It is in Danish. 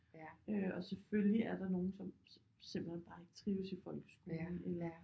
Øh og selvfølgelig er der nogle som simpelthen bare ikke trives i folkeskolen eller